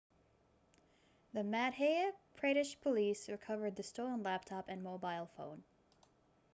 the madhya pradesh police recovered the stolen laptop and mobile phone